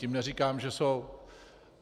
Tím neříkám, že jsou.